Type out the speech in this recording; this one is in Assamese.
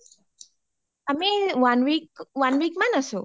আমি one week, one week মান আছো